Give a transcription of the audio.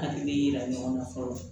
An de bɛ yira ɲɔgɔn na fɔlɔ